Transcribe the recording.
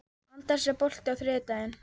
Anders, er bolti á þriðjudaginn?